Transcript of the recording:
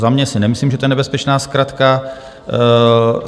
Za mě si nemyslím, že to je nebezpečná zkratka.